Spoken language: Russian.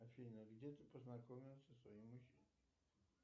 афина где ты познакомилась со своим мужчиной